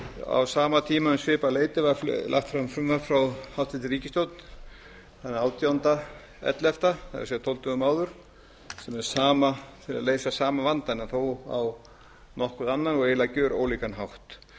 á sama tíma eða um svipað leyti var lagt fram frumvarp frá hæstvirtri ríkisstjórn þann átján ellefu það er tólf dögum áður um að leysa sama vanda en þó á nokkuð annan og eiginlega gjörólíkan hátt